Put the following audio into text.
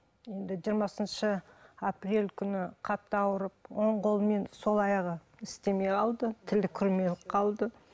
енді жиырмасыншы апрель күні қатты ауырып оң қолы мен сол аяғы істемей қалды тілі күрмеліп қалды